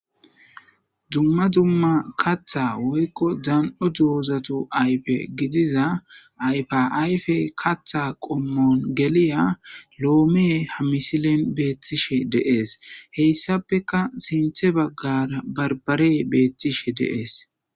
Dumma dumma kaththa woykko dan7o dozatu ayfe gidiza ayfa ayfe kaththa qommon geliya lome ha misilen betishe de7es. Heysapeka sinththe bagara barbarey betishe de7es.